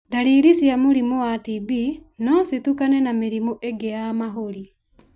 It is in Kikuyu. ñdariri cia mũrimũ wa TB no citukane na mĩrimũ ingĩ ya mahũri.